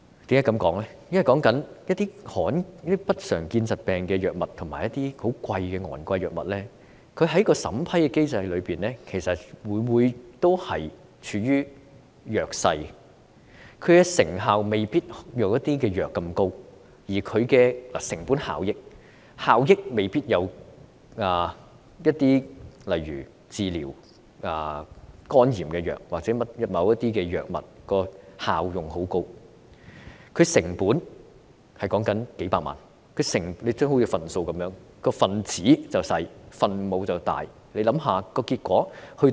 現在一些不常見疾病的藥品及昂貴的藥物，在審批機制中往往處於弱勢，其成效未必如某些藥物那麼高，成本效益亦未必及得上例如治療肝炎藥物或某些高效用藥物，但成本卻高達數百萬元，好像分數般，分子小而分母大，想想結果會怎樣？